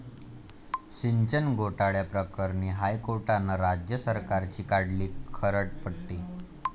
सिंचन घोटाळ्याप्रकरणी हायकोर्टानं राज्य सरकारची काढली खरडपट्टी